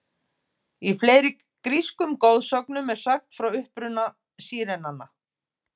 Í fleiri grískum goðsögnum er sagt frá uppruna sírenanna.